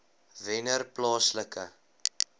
wennerplaaslike